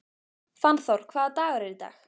Fannþór, hvaða dagur er í dag?